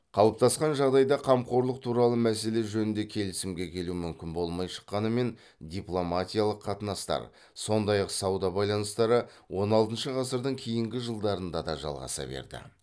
қалыптасқан жағдайда қамқорлық туралы мәселе жөнінде келісімге келу мүмкін болмай шыққанымен дипломатиялық қатынастар сондай ақ сауда байланыстары он алтыншы ғасырдың кейінгі жылдарында да жалғаса берді